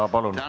Jah, palun!